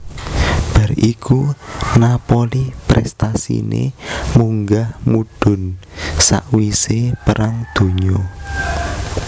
Bar iku Napoli prestasine munggah mudhun sakwise Perang Donya